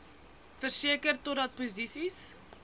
verseker totdat posisies